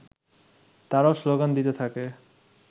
তারাও স্লোগান দিতে থাকে